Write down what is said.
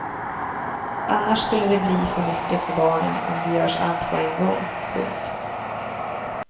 Annars skulle det bli för mycket för barnen om det görs allt på en gång. punkt